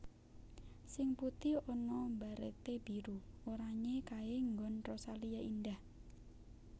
Sing putih ana barete biru oranye kae nggon Rosalia Indah